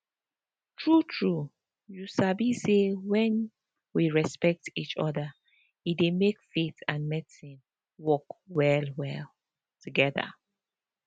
true true you sabi say when we respect each other e dey make faith and medicine work well together